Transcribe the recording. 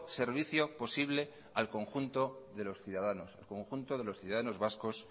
servicio posible al conjunto de los ciudadanos conjunto de los ciudadanos vascos